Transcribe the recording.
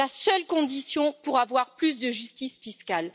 C'est la seule condition pour avoir plus de justice fiscale.